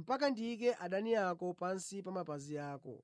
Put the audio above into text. mpaka ndiyike adani ako pansi pa mapazi ako.’